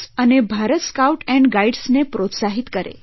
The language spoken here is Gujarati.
અને ભારત સ્કાઉટ એન્ડ ગાઇડ્સને પ્રોસ્તાહિત કરે